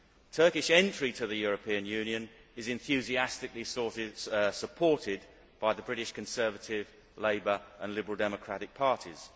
Turkish entry to the European Union is enthusiastically supported by the British Conservative, Labour and Liberal Democratic parties.